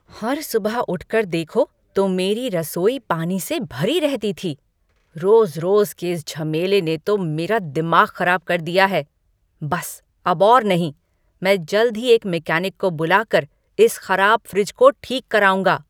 हर सुबह उठकर देखो तो मेरी रसोई पानी से भरी रहती थी। रोज़ रोज़ के इस झमेले ने तो मेरा दिमाग ख़राब कर दिया है। बस अब और नहीं! मैं जल्द ही एक मेकैनिक को बुलाकर इस ख़राब फ्रिज को ठीक कराऊँगा।